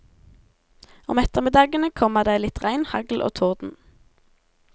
Om ettermiddagene kommer det litt regn, hagl og torden.